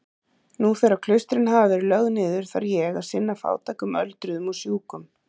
Nú þegar klaustrin hafa verið lögð niður þarf ég að sinna fátækum öldruðum og sjúkum.